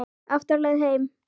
Aftur á leið heim.